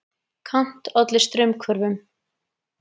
Kant olli straumhvörfum.